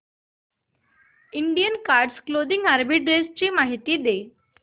Indian card clothing arbitrage माहिती दे